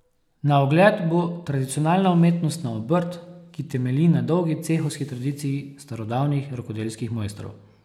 Na ogled bo tradicionalna umetnostna obrt, ki temelji na dolgi cehovski tradiciji starodavnih rokodelskih mojstrov.